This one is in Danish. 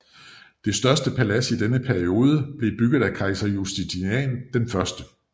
Det største palads i denne periode blev bygget af kejser Justinian I